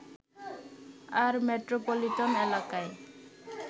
আর metropolitan এলাকায়